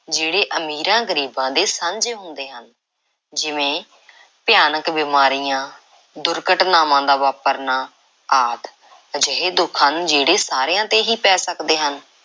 ਜਿਹੜੇ ਅਮੀਰਾਂ, ਗਰੀਬਾਂ ਦੇ ਸਾਂਝੇ ਹੁੰਦੇ ਹਨ, ਜਿਵੇਂ ਭਿਆਨਕ ਬਿਮਾਰੀਆਂ, ਦੁਰਘਟਨਾਵਾਂ ਦਾ ਵਾਪਰਨਾ ਆਦਿ ਅਜਿਹੇ ਦੁੱਖ ਹਨ ਜਿਹੜੇ ਸਾਰਿਆਂ ‘ਤੇ ਹੀ ਪੈ ਸਕਦੇ ਹਨ।